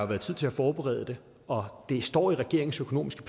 været tid til at forberede det og det står i regeringens økonomiske